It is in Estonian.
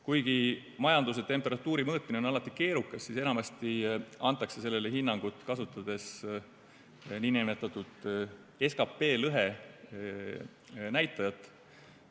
Kuigi majanduse temperatuuri mõõtmine on alati keerukas, siis enamasti antakse sellele hinnang, kasutades nn SKP lõhe näitajat.